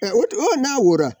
ɔ n'a wo la.